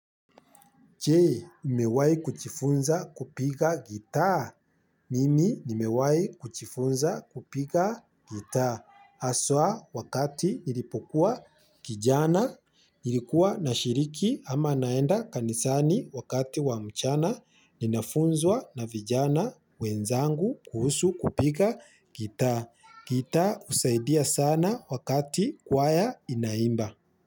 Che, umewahi kuchifunza kupiga gitaa. Mimi, nimewahi kuchifunza kupiga gitaa. Haswa, wakati nilipokuwa kijana, nilikuwa na shiriki ama naenda kanisani wakati wa mchana, ninafunzwa na vijana wenzangu kuhusu kupiga gitaa. Gitaa husaidia sana wakati kwaya inaimba.